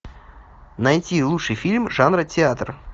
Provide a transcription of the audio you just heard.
найти лучший фильм жанра театр